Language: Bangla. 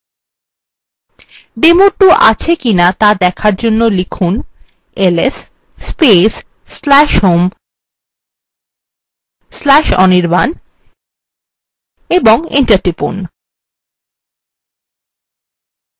demo2 আছে কিনা দেখার জন্য লিখুন